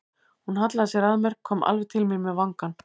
Hún hallaði sér að mér, kom alveg til mín með vangann.